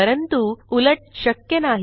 परंतु उलट शक्य नाही